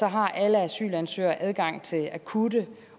har alle asylansøgere adgang til akutte